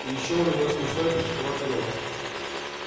и ещё у него смешной крючковатый нос